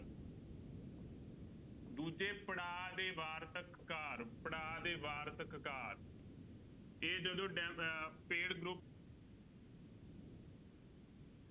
ਦੂਜੇ ਪੜ੍ਹਾਅ ਦੇ ਵਾਰਤਕ ਕਾਰ ਪੜ੍ਹਾਅ ਦੇ ਵਾਰਤਕ ਕਾਰ ਇਹ ਜਦੋਂ ਡੈ ਅਹ paid group